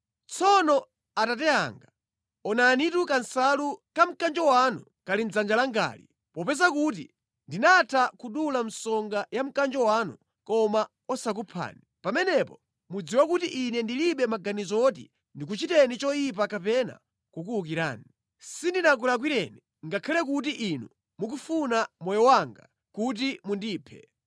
Tsono abambo anga, onanitu kansalu ka mkanjo wanu kali mʼdzanja langali! Popeza kuti ndinatha kudula msonga ya mkanjo wanu koma osakuphani, pamenepo mudziwe kuti ine ndilibe maganizo woti ndikuchiteni choyipa kapena kukuwukirani. Sindinakulakwireni ngakhale kuti inu mukufuna moyo wanga kuti mundiphe.